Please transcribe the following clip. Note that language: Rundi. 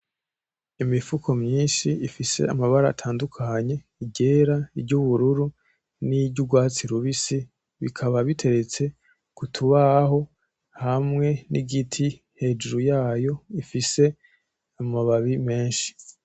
Imifuko myinshi ifise amabara atandukanye iryera, iryubururu n'iryurwatsi rubisi bikaba biteretse kutubaho hamwe n'igiti hejuru yayo ifise amababi menshi .